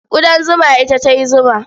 Ƙudan zuma ita ta yi zuma.